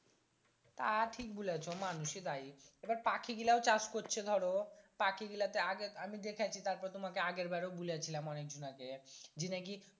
তা ঠিক বুলাছো মানুষই দায়ি আবার পাখি গিলাও চাষ করছে ধরো পাখি গিলাতে আগে আমি দেখাছি তারপর তোমাকে আগের বারেও বুলাছিলাম অনেক ঝুনা কে জি নাকি